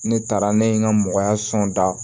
Ne taara ne ye n ka da